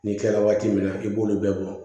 Ni kɛla waati min na i b'olu bɛɛ bɔ